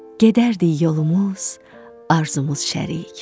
Gedərdik yolumuz, arzumuz şərik.